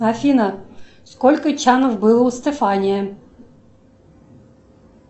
афина сколько чанов было у стефания